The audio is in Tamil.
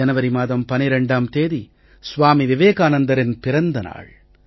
ஜனவரி மாதம் 12ம் தேதி ஸ்வாமி விவேகானந்தரின் பிறந்த நாள்